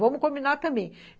Vamos combinar também.